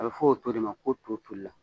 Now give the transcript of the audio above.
A bɛ fɔ o to de ma ko to tolila